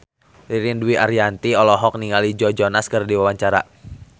Ririn Dwi Ariyanti olohok ningali Joe Jonas keur diwawancara